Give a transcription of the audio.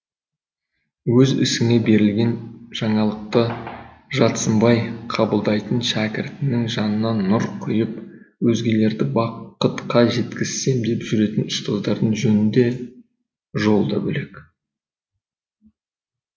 өз ісіне берілген жаңалықты жатсынбай қабылдайтын шәкіртінің жанына нұр құйып өзгелерді бақытқа жеткізсем деп жүретін ұстаздардың жөні де жолы да бөлек